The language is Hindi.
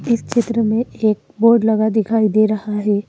इस क्षेत्र में एक बोर्ड लगा दिखाई दे रहा हैं।